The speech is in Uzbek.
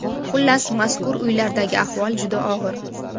Xullas, mazkur uylardagi ahvol juda og‘ir.